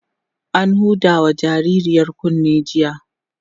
an Huda wa jinjirar kunne jiya